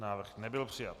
Návrh nebyl přijat.